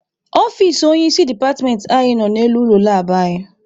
Ọfici onye isi departmentị anyị nọ n'elu ụlọ labụ anyị.